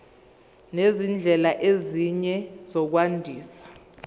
nezindlela ezinye zokwandisa